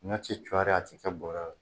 Ɲɔ ti cɔri a ti kɛ bɔrɛ la.